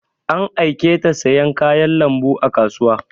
An aiketa siyan kayan lambu a kasuwa